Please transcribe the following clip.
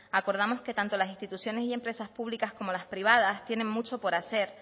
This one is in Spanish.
acordamos que tanto las instituciones y empresas públicas como las privadas tienen mucho por hacer